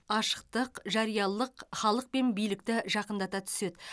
ашықтық жариялылық халық пен билікті жақындата түседі